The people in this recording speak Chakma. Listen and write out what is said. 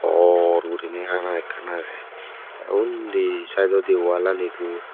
bor guriney ana ekkan agey tey undi saidodi wallanit do.